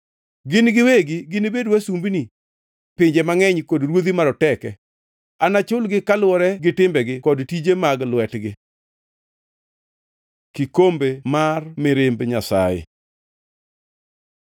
Gin giwegi ginibed wasumbini pinje mangʼeny kod ruodhi maroteke; anachulgi kaluwore gitimbegi kod tije mag lwetgi.” Kikombe mar mirimb Nyasaye